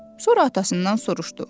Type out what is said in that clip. Sonra atasından soruşdu: